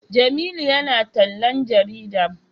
Jamilu ya na tallan jarida